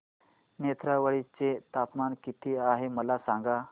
नेत्रावळी चे तापमान किती आहे मला सांगा